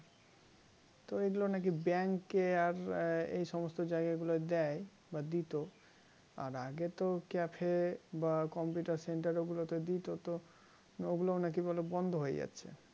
তো এগুলো নাকি bank এ আর এই সমস্ত জায়গা গুলো দেয় বা দিত আর আগে তো cafe এ বা computer center গুলোতে দিত তো ওগুলো নাকি বলে বন্ধ হয়ে যাচ্ছে